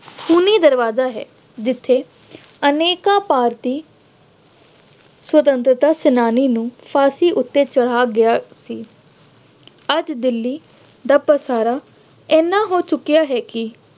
ਖੂਨੀ ਦਰਵਾਜ਼ਾ ਹੈ। ਜਿੱਥੇ ਅਨੇਕਾਂ ਭਾਰਤੀ ਸੁਤੰਤਰਤਾ ਸੈਨਾਨੀਆਂ ਨੂੰ ਫਾਂਸੀ ਉੱਤੇ ਚੜ੍ਹਾਇਆ ਗਿਆ ਸੀ। ਅੱਜ ਦਿੱਲੀ ਦਾ ਪਸਾਰਾ ਐਨਾ ਹੋ ਚੁੱਕਿਆ ਹੈ ਕਿ